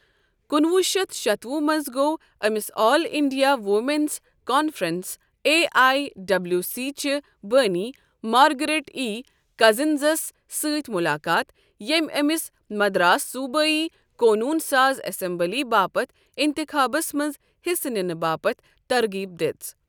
کُنوُہ شیتھ شیتوُہ منٛز گوٚو امِس all India women's conference A I W C چہِ بٲنی، مارگریٹ ای کزٕنزس سۭتۍ مُلاقات ، ییٚمہِ امِس مدراس صوبٲئی قونوٗن ساز اسمبلی باپتھ اِنتخابس منز حِصہٕ نِنہٕ باپت طرغیب دِژ